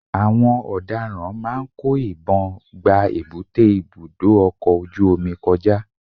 àwọn ọ̀daràn máà ń kó ìbọn gba èbúté ibudọ ọkọ ojú-omi kọjá.